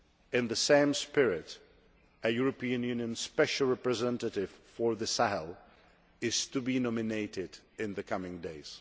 In the same spirit, a European Union Special Representative for the Sahel is to be nominated in the coming days.